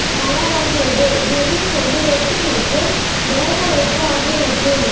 தயாராகிறது ஹெர்ரிங் கொண்டு ரொட்டி மற்றும் வேகவைத்த ஆகியவற்றில்